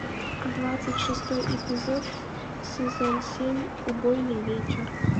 двадцать шестой эпизод сезон семь убойный вечер